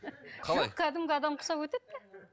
жоқ кәдімгі адам құсап өтеді де